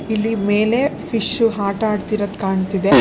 ಇಲ್ಲಿ ಮೇಲೆ ಫಿಶ್ ಆಟ ಆಡ್ತಿರೋದು ಕಾಣ್ತಿದೆ.